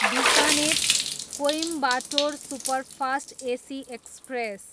Bikaner, Coimbatore superfast AC express